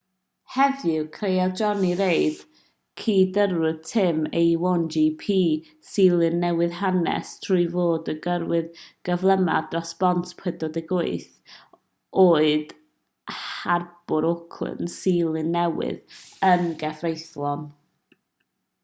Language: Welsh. heddiw creodd jonny reid cydyrrwr tîm a1gp seland newydd hanes trwy fod y gyrrwr cyflymaf dros bont 48 oed harbwr auckland seland newydd yn gyfreithlon